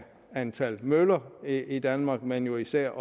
antallet af møller i danmark men jo især